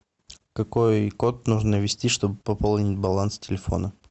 какой код нужно ввести чтобы пополнить баланс телефона